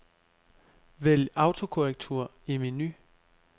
Vælg autokorrektur i menu.